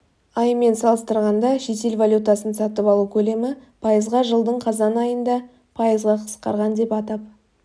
айымен салыстырғанда шетел валютасын сатып алу көлемі пайызға жылдың қазайын айында пайызға қысқарған деп атап